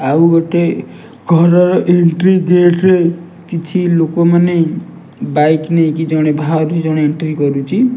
ଆଉ ଗୋଟେ ଘରର ଏଣ୍ଟ୍ରି ଗେଟ୍ ରେ କିଛି ଲୋକମାନେ ବାଇକ୍ ନେଇକି ଜଣେ ବାହାରୁଛି ଜଣେ ଏଣ୍ଟ୍ରି କରୁଛି।